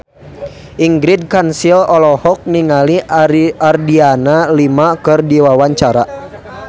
Ingrid Kansil olohok ningali Adriana Lima keur diwawancara